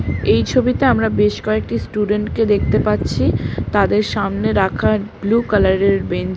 এই ছবিতে আমরা বেশ কয়েকটি স্টুডেন্ট কে দেখতে পাচ্ছি। তাদের সামনে রাখা ব্লু কালার -এর বেঞ্চ ।